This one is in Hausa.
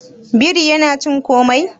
biri yana cin komai